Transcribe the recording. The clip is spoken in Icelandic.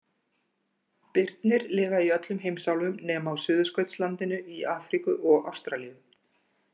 Birnir lifa í öllum heimsálfum nema á Suðurskautslandinu, í Afríku og Ástralíu.